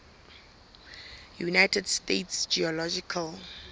united states geological